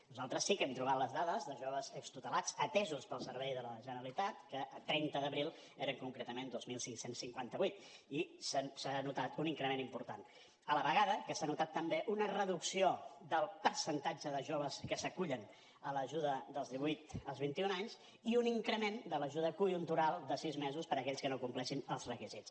nosaltres sí que hem trobat les dades de joves extutelats atesos pel servei de la generalitat que a trenta d’abril eren concretament dos mil cinc cents i cinquanta vuit i se n’ha notat un increment important a la vegada que s’ha notat també una reducció del percentatge de joves que s’acullen a l’ajuda dels divuit als vint i un anys i un increment de l’ajuda conjuntural de sis mesos per a aquells que no compleixin els requisits